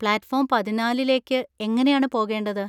പ്ലാറ്റ് form പതിനാലിലേക്ക് എങ്ങനെയാണ് പോകേണ്ടത്?